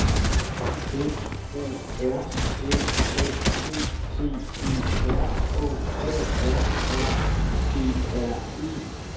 F O R F A T T E R K A R R I E R E